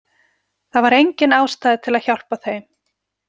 Það var engin ástæða til að hjálpa þeim.